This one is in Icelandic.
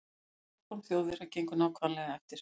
Þessi áform Þjóðverja gengu nákvæmlega eftir.